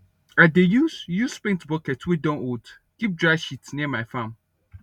i dey use use paint bucket wey don old keep dry shit near my farm